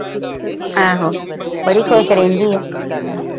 ਆਹ ਹੋ ਬੜੀ ਖੁਸ਼ ਰਹਿੰਦੀ ਆ